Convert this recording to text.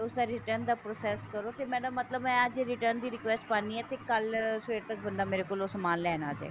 return ਦਾ process ਕਰੋ ਫੇਰ ਮੇਰਾ ਮਤਲਬ ਮੈਂ ਅੱਜ return ਦੀ request ਪਾਂਦੀ ਹਾਂ ਤੇ ਕੱਲ ਸਵੇਰ ਤੱਕ ਉਹ ਬੰਦਾ ਮੇਰੇ ਕੋਲੋ ਸਮਾਨ ਲੈਣ ਆ ਜਾਏਗਾ